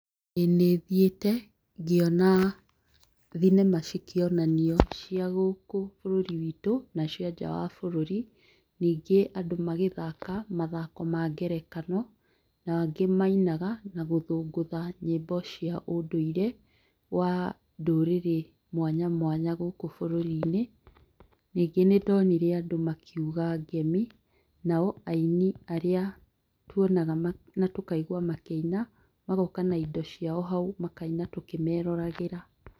ĩĩ nĩ thiĩte, ngĩona thinema cikĩonanio cia gũkũ bũrũri witũ na cia nja wa bũrũri, ningĩ andũ magĩthaka mathako ma ngerekano, na angĩ mainaga na gũthũngũtha nyĩmbo cia ũndũire wa ndũrĩrĩ mwanya mwanya gũkũ bũrũri-inĩ, ningĩ nĩ ndonire andũ makiuga ngemi, nao aini arĩa tuonaga na tũkaigua makĩina, magoka na indo ciao hau makaina tũkĩmeroragĩra.